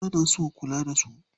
Mata na so a kula da su.